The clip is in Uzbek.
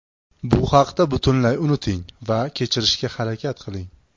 Bu haqda butunlay unuting va kechirishga harakat qiling!